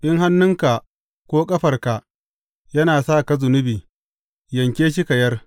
In hannunka ko ƙafarka yana sa ka zunubi, yanke shi ka yar.